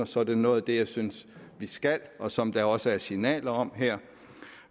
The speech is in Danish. så er det noget af det jeg synes vi skal og som der også er signaler om her